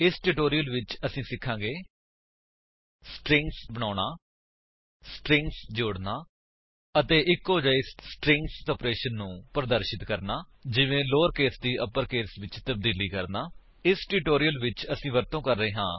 ਇਸ ਟਿਊਟੋਰਿਅਲ ਵਿੱਚ ਅਸੀ ਸਿਖਾਂਗੇ ਸਟਰਿੰਗਜ਼ ਬਣਾਉਣਾ ਸਟਰਿੰਗਜ਼ ਜੋੜਨਾ ਅਤੇ ਇੱਕੋ ਜਿਹੇ ਸਟਰਿੰਗਜ਼ ਆਪਰੇਸ਼ਨ ਨੂੰ ਪ੍ਰਦਰਸ਼ਿਤ ਕਰਨਾ ਜਿਵੇਂ ਲੋਅਰਕੇਸ ਦੀ ਅਪਰਕੇਸ ਵਿੱਚ ਤਬਦੀਲੀ ਕਰਨਾ ਇਸ ਟਿਊਟੋਰਿਅਲ ਵਿੱਚ ਅਸੀ ਵਰਤੋ ਕਰ ਰਹੇ ਹਾਂ